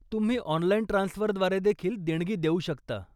तुम्ही ऑनलाइन ट्रान्सफरद्वारे देखील देणगी देऊ शकता.